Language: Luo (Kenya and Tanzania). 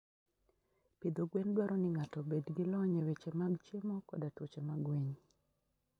Pidho gwen dwaro ni ng'ato obed gi lony e weche mag chiemo koda tuoche mag winy.